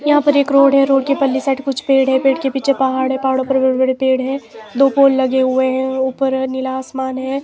यहां पर एक रोड है रोड के पल्ली साइड कुछ पेड़ है पेड़ के पीछे पहाड़े पहाड़ों पर बड़े पेड़ है दो पोल लगे हुए है ऊपर नीला आसमान है।